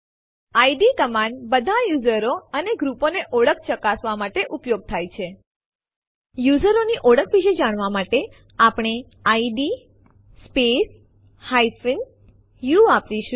ID command બધા યુઝરો અને ગ્રુપો ની ઓળખ ચકાસવા માટે ઉપયોગ થાય છે યુઝરોની ઓળખ વિશે જાણવા માટે આપણે ઇડ સ્પેસ u વાપરીશું